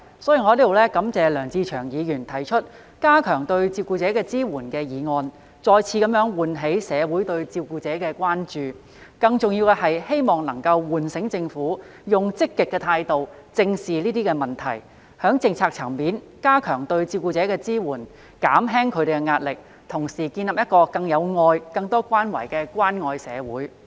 所以，我在此感謝梁志祥議員提出"加強對照顧者的支援"議案，再次喚起社會對照顧者的關注；更重要的是，希望能夠喚醒政府以積極態度正視這些問題，在政策層面加強對照顧者的支援，減輕他們的壓力，同時建立一個更有愛及有更多關懷的關愛社會。